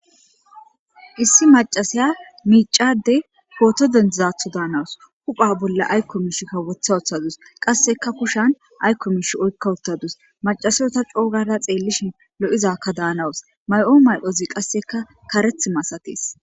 Issi macasiya micade poto dedizatho danawus hupha bolla ayko wotha wothadus qaseka kushan ayko mishi oyksa utadus macasiyo ta co gada xelishin lo'izaka danawus mayo medhozika qaseka karethi masates